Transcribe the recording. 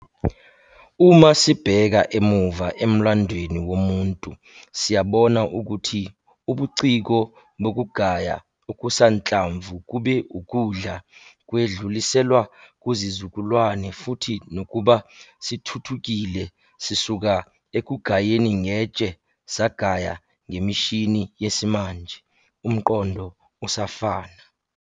Uma sibheka emuva emlandweni womuntu, siyabona ukuthi ubuciko bokugaya okusanhlamvu kube ukudla kwedluliselwa kuzizukulwane futhi nakuba sithuthukile sisuka ekugayeni ngetshe sagaya ngemishinini yesimanje, umqondo usafana.